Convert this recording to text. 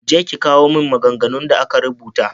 Je ki kawo min maganganun da aka rubuta.